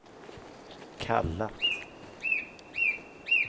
kallat